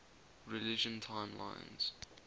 religion timelines